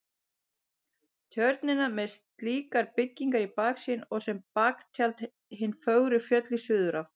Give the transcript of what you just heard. Tjörnina með slíkar byggingar í baksýn og sem baktjald hin fögru fjöll í suðurátt.